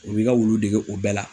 U b'i ka wulu dege o bɛɛ la